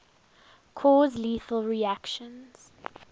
cause lethal reactions